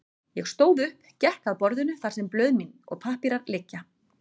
Ég stóð upp, gekk að borðinu þar sem blöð mín og pappírar liggja.